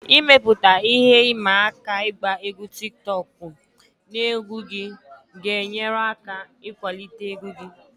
Ịmepụta ihe ịma aka ịgba egwu tiktokụ na egwu gị ga-enyere aka ịkwalite egwu gị